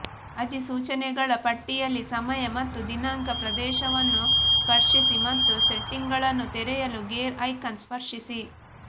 ಅಧಿಸೂಚನೆಗಳ ಪಟ್ಟಿಯಲ್ಲಿ ಸಮಯ ಮತ್ತು ದಿನಾಂಕ ಪ್ರದೇಶವನ್ನು ಸ್ಪರ್ಶಿಸಿ ಮತ್ತು ಸೆಟ್ಟಿಂಗ್ಗಳನ್ನು ತೆರೆಯಲು ಗೇರ್ ಐಕಾನ್ ಸ್ಪರ್ಶಿಸಿ